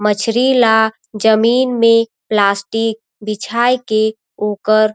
मछरी ला जमीन में प्लास्टिक बिछाए के ओकर--